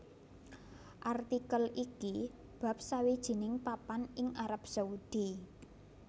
Artikel iki bab sawijining papan ing Arab Saudi